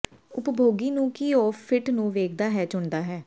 ਉਪਭੋਗੀ ਨੂੰ ਕੀ ਉਹ ਫਿੱਟ ਨੂੰ ਵੇਖਦਾ ਹੈ ਚੁਣਦਾ ਹੈ